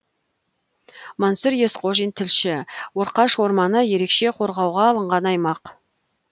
мансұр есқожин тілші орқаш орманы ерекше қорғауға алынған аймақ